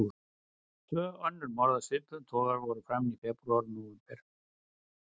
Tvö önnur morð af svipuðum toga voru framin í febrúar og nóvember.